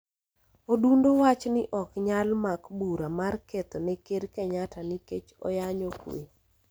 Odundo wach ni ok nyal mak bura mar ketho ne Ker Kenyatta nikech onyayo kwe.